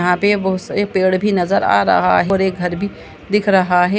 यहाँ पे बहोत से पेड़ भी नजर आ रहा है और एक घर भी दिख रहा है।